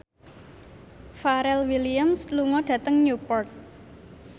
Pharrell Williams lunga dhateng Newport